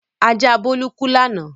Ajá Bólú kú lánàá.